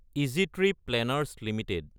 easy trip planners Ltd